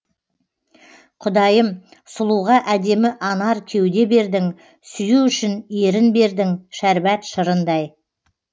құдайым сұлуға әдемі анар кеуде бердің сүю үшін ерін бердің шәрбат шырындай